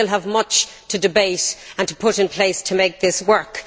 We still have much to debate and to put in place to make this work.